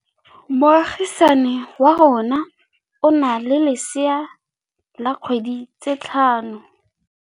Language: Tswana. Moagisane wa rona o na le lesea la dikgwedi tse tlhano.